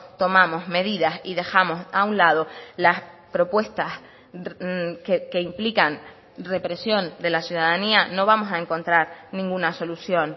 tomamos medidas y dejamos a un lado las propuestas que implican represión de la ciudadanía no vamos a encontrar ninguna solución